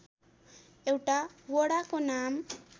एउटा वडाको नाम